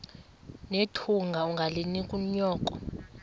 nethunga ungalinik unyoko